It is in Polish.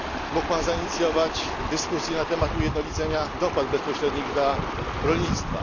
Mógł Pan zainicjować dyskusję na temat ujednolicenia dopłat bezpośrednich dla rolnictwa.